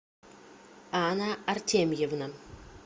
анна артемьевна